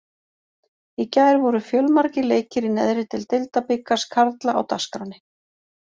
Í gær voru fjölmargir leikir í neðri deild Deildabikars karla á dagskránni.